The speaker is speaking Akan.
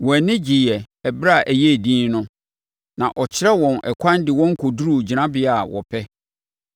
Wɔn ani gyeeɛ ɛberɛ a ɛyɛɛ dinn no, na ɔkyerɛɛ wɔn ɛkwan de wɔn kɔduruu gyinabea a wɔpɛ.